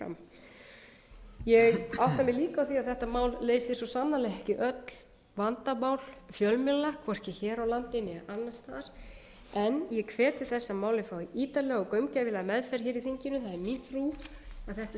á því að þetta mál leysir svo sannarlega ekki öll vandamál fjölmiðla hvorki hér á landi né annars staðar en ég hvet til þess að málið fái ítarlega og gaumgæfilega meðferð í þinginu það er mín trú að þetta